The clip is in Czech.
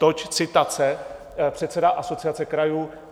Toť citace - předseda Asociace krajů.